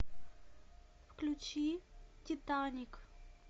включи титаник